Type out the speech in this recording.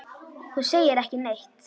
Þú segir ekki neitt.